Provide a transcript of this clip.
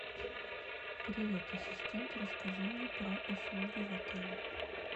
привет ассистент расскажи мне про услуги в отеле